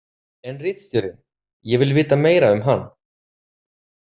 En ritstjórinn, ég vil vita meira um hann?